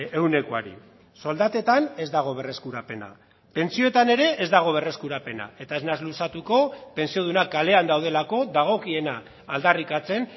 ehunekoari soldatetan ez dago berreskurapena pentsioetan ere ez dago berreskurapena eta ez naiz luzatuko pentsiodunak kalean daudelako dagokiena aldarrikatzen